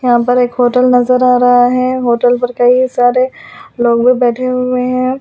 यहां पर एक होटल नजर आ रहा है होटल पर कई सारे लोग भी बैठे हुए हैं।